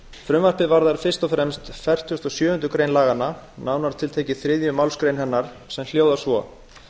frumvarpið varðar fyrst og fremst fertugustu og sjöundu grein laganna nánar tiltekið þriðju málsgrein hennar sem hljóðar svo